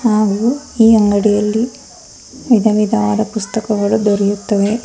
ಹಾಗು ಈ ಅಂಗಡಿಯಲ್ಲಿ ವಿಧವಿಧವಾದ ಪುಸಕ್ತಗಳು ದೊರೆಯುತ್ತವೆ.